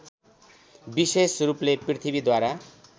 विशेष रूपले पृथ्वीद्वारा